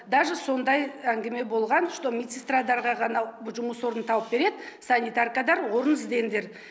даже сондай әңгіме болған что медсестрадарға ғана жұмыс орнын тауып береді санитаркадар орын іздеңдер